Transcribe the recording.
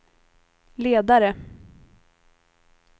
ledare